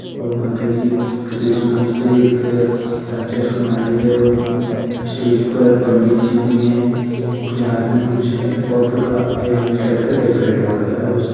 और माताजी त्रिशूल से एक अ राक्षस को मार रही है और अमम स्टेज पर पंडितजी भी है उनके हाथ मैं कुछ है और पूरा आयोजन का डेकोरेट हो रखा ह।